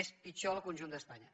és pitjor al conjunt d’espanya